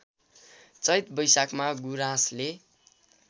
चैत वैशाखमा गुराँसले